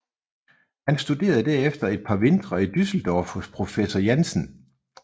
Han studerede derefter et par vintre i Düsseldorf hos professor Jansen